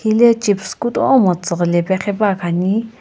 hile chips kutomo tsiiriilae khipane.